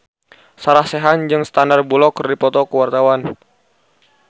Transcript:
Sarah Sechan jeung Sandar Bullock keur dipoto ku wartawan